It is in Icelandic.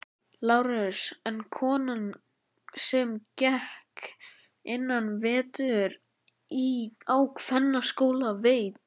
LÁRUS: En konan sem gekk einn vetur á kvennaskóla veit.